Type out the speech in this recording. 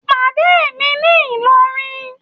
pàdé mi ní ìlọrin